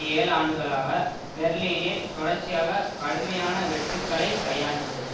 ஏழு ஆண்டுகளாக பெர்லினில் தொடர்ச்சியாக கடுமையான வெட்டுக்களை கையாண்டுள்ளது